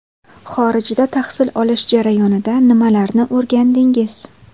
Xorijda tahsil olish jarayonida nimalarni o‘rgandingiz?